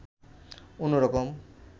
অন্যরকম